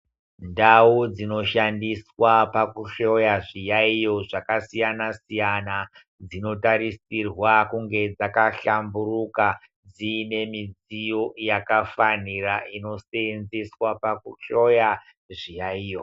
Ndau dzino shandiswa paku hloya zviyayiyo zvaka siyana siyana dzino tarisirwa kunge dzaka hlamburuka dzine midziyo yaka fanira ino senzeswa paku hloya zviyayiyo.